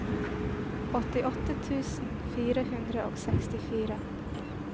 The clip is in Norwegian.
åttiåtte tusen fire hundre og sekstifire